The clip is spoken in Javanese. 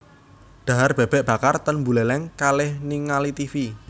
Dhahar bebek bakar ten Buleleng kalih ningali tivi